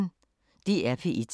DR P1